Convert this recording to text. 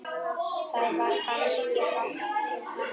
Það var kannski háttur hans.